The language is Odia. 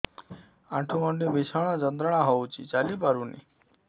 ଆଣ୍ଠୁ ଗଣ୍ଠି ଭିଷଣ ଯନ୍ତ୍ରଣା ହଉଛି ଚାଲି ପାରୁନି